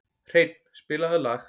Hreinn, spilaðu lag.